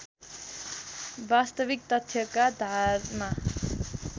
वास्तविक तथ्यका धारमा